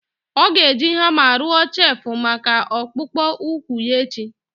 Ọ ga-eji hama rụọ chelfụ maka akpụkpọ ụkwụ ya echi.